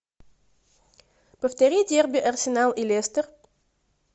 повтори дерби арсенал и лестер